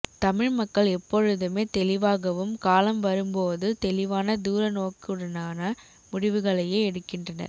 தமிழ்மக்கள் எப்பொழுதுமே தெளிவாகவும் காலம் வரும் போது தெளிவான தூர நோக்குடனான முடிவுகளையே எடுக்கின்றனர்